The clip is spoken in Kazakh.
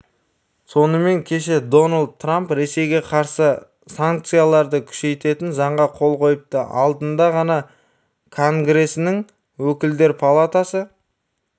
сонымен кеше дональд трамп ресейге қарсы санкцияларды күшейтетін заңға қол қойыпты алдында ғана конгресінің өкілдер палатасы